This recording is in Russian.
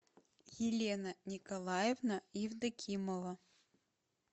елена николаевна евдокимова